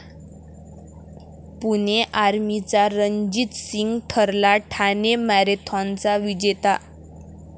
पुणे आर्मीचा रणजित सिंग ठरला ठाणे मॅरेथॉनचा विजेता